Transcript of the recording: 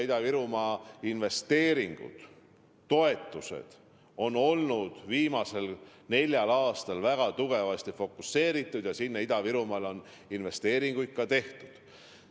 Ida-Virumaa investeeringud, toetused on olnud viimasel neljal aastal väga tugevasti fokuseeritud ja Ida-Virumaale on investeeringuid ka tehtud.